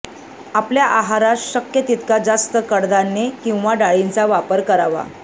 आपल्या आहारात शक्य तितका जास्त कडधान्ये आणि डाळींचा वापर करावा